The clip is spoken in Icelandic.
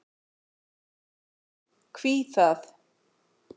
Hví það?